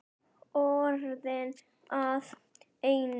Orðin að einu.